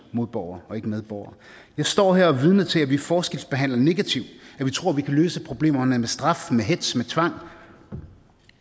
modborgere og ikke medborgere jeg står her og er vidne til at vi forskelsbehandler negativt at vi tror at vi kan løse problemerne med straf med hetz med tvang